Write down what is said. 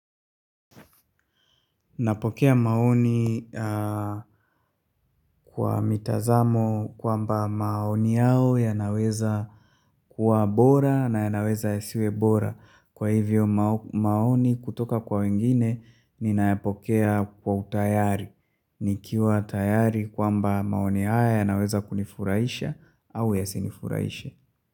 Napokea maoni kwa mitazamo kwamba maoni yao yanaweza kuwa bora na yanaweza yasiwe bora. Kwa hivyo maoni kutoka kwa wengine ninayapokea kwa utayari. Nikiwa tayari kwamba maoni haya yanaweza kunifurahisha au ya sinifurahishe.